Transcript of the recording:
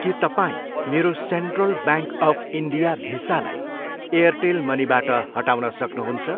के तपाईँ मेरो central bank of India visa लाई एयरटेल मनीबाट हटाउन सक्नुहुन्छ?